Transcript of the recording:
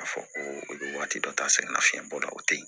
K'a fɔ ko o ye waati dɔ ta sɛnɛ nafiyɛnbɔ la o tɛ yen